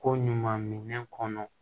Ko ɲuman minɛn kɔnɔ